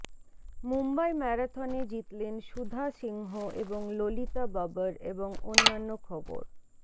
মুম্বই ম্যারাথনে জিতলেন সুধা সিংহ এবং ললিতা বাবর এবং অন্যান্য খবর